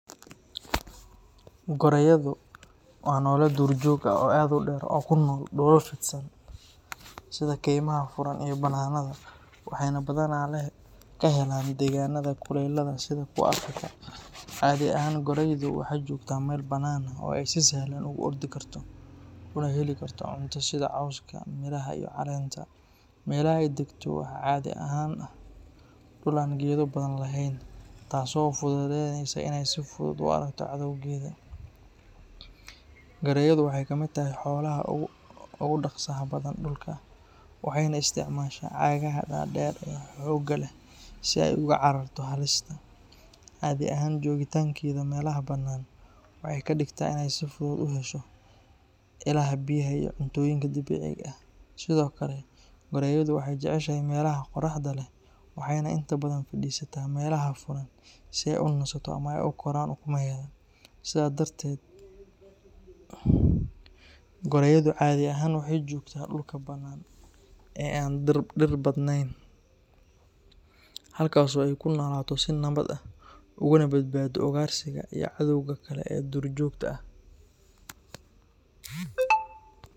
Goraydu waa noole duurjoog ah oo aad u dheer oo ku nool dhulal fidsan sida kaymaha furan iyo bannaanada, waxayna badanaa ka helaan deegaanada kulaylaha sida kuwa Afrika. Cadhi ahaan, goraydu waxay joogtaa meel bannaan ah oo ay si sahlan ugu ordi karto una heli karto cunto sida cawska, miraha iyo caleenta. Meelaha ay degto waxaa caadi ahaan ah dhul aan geedo badan lahayn, taasoo u fududaynaysa inay si fudud u aragto cadowgeeda. Goraydu waxay ka mid tahay xoolaha ugu dhaqsaha badan dhulka, waxayna isticmaashaa cagaha dhaadheer ee xoogga leh si ay uga cararto halista. Cadhi ahaan joogitaankeeda meelaha bannaan waxay ka dhigtaa inay si fudud u hesho ilaha biyaha iyo cuntooyinka dabiiciga ah. Sidoo kale, goraydu waxay jeceshahay meelaha qorraxda leh, waxayna inta badan fadhiisataa meelaha furan si ay u nasto ama ay u koraan ukumeheeda. Sidaa darteed, goraydu cadhi ahaan waxay joogtaa dhulka bannaan ee aan dhir badnayn, halkaas oo ay ku noolaato si nabad ah, ugana badbaado ugaarsiga iyo cadowga kale ee duurjoogta ah.